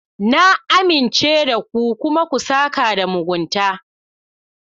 Na amince da ku, kuma ku sãka da mugunta.